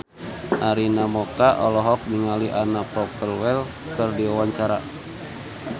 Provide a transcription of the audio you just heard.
Arina Mocca olohok ningali Anna Popplewell keur diwawancara